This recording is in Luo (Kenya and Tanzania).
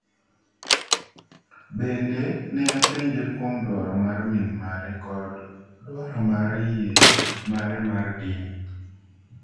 “Bende, ne apenje kuom dwaro mar min mare kod dwaro mar yie mare mar dini.”